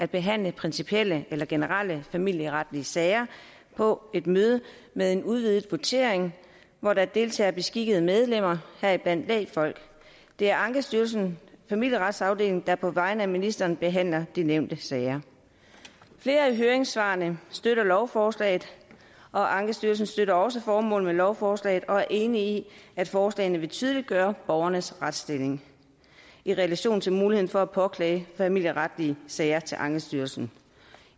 behandle principielle eller generelle familieretlige sager på et møde med en udvidet votering hvor der deltager beskikkede medlemmer heriblandt lægfolk det er ankestyrelsens familieretsafdeling der på vegne af ministeren behandler de nævnte sager flere af høringssvarene støtter lovforslaget og ankestyrelsen støtter også formålet med lovforslaget og er enige i at forslagene vil tydeliggøre borgernes retsstilling i relation til muligheden for at påklage familieretlige sager til ankestyrelsen